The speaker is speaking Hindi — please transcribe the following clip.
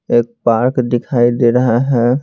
एक पार्क दिखाई दे रहा है।